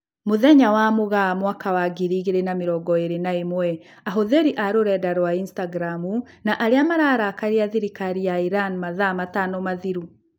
Mũthenya wa Mũgaa mwaka wa ngiri igĩrĩ na mirongo ĩrĩ na ĩmwe: Ahũthĩri a rũrenda rwa Instagramu na arĩa mararakaria thirikari ya Iran mathaa matano mathiru